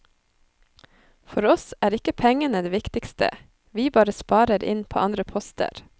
For oss er ikke pengene det viktigste, vi bare sparer inn på andre poster.